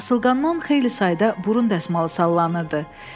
Asılqandan xeyli sayda burun dəsmalı sallanırdı.